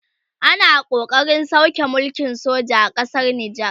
ana ƙoƙarin sauke mulkin soja a ƙasar nijar